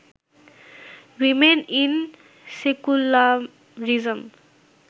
women in secularism